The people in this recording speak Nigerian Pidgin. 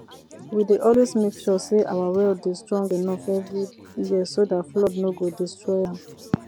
we dey always make sure say our well dey strong enough every year so dat flood nor go destroy am